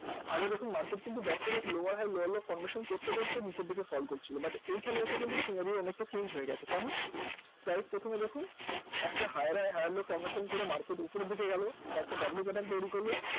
আগে দেখুন market back to back lower high lower low formation করতে করতে নীচের দিকে fall করছিল but এইখানে এসে কিন্তু scenario অনেকটা chnage হয়ে গেছে, কেমন? price প্রথমে দেখুন একটা higher high higher low formation করে market উপরের দিকে গেল বা একটা w pattern তৈরী করল